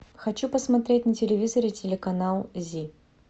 хочу посмотреть на телевизоре телеканал зи